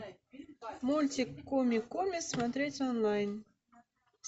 мультик куми куми смотреть онлайн